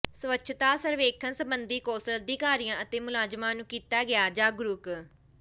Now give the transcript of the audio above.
ਸਵੱਛਤਾ ਸਰਵੇਖਣ ਸਬੰਧੀ ਕੌਂਸਲ ਅਧਿਕਾਰੀਆਂ ਅਤੇ ਮੁਲਾਜ਼ਮਾਂ ਨੂੰ ਕੀਤਾ ਗਿਆ ਜਾਗਰੂਕ